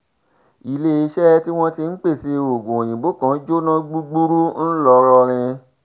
iléeṣẹ́ tí wọ́n ti ń pèsè oògùn òyìnbó kan jóná gbúgbúrú ńlọrọrin